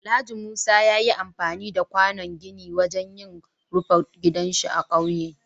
Alhaji Musa ya yi amfani da kwànon gini wajen yin rufe gidansa a ƙauye.